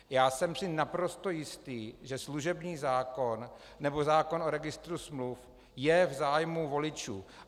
Já jsem si naprosto jistý, že služební zákon nebo zákon o registru smluv je v zájmu voličů.